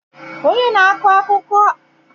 Onye na-akọ akụkọ anụmanụ ga-abịa n'ụlọ anyị echi